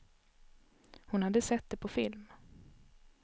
Hon hade sett det på film.